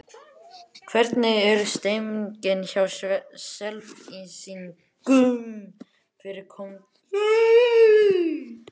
Hvernig er stemmingin hjá Selfyssingum fyrir komandi sumar?